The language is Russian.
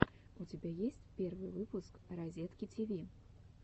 у тебя есть первый выпуск разетки тиви